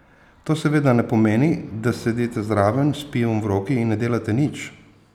To seveda ne pomeni, da sedite zraven s pivom v roki in ne delate nič!